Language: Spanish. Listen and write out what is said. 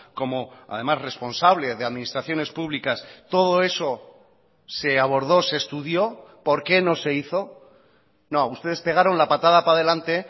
como además responsable de administraciones públicas todo eso se abordó se estudió por qué no se hizo no ustedes pegaron la patada para delante